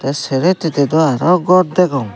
tey sero hittedi aro gor degong.